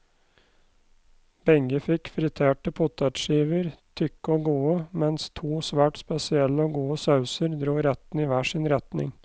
Begge fikk friterte potetskiver, tykke og gode, mens to svært spesielle og gode sauser dro rettene i hver sin retning.